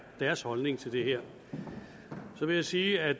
deres holdning til det her så vil jeg sige at